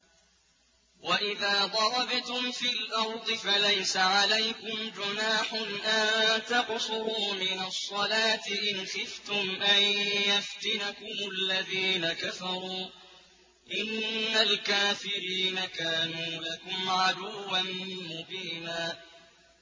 وَإِذَا ضَرَبْتُمْ فِي الْأَرْضِ فَلَيْسَ عَلَيْكُمْ جُنَاحٌ أَن تَقْصُرُوا مِنَ الصَّلَاةِ إِنْ خِفْتُمْ أَن يَفْتِنَكُمُ الَّذِينَ كَفَرُوا ۚ إِنَّ الْكَافِرِينَ كَانُوا لَكُمْ عَدُوًّا مُّبِينًا